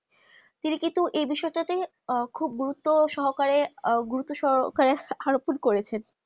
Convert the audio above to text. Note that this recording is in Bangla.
তিনি কিন্তু এই বিষয় তা খুব আহ গুরুত্ব সহকারে আহ গুরুত্ব সহকারে আরোপন করেছে